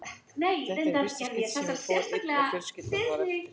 Þetta var í fyrsta skiptið sem ég fór einn og fjölskyldan var eftir.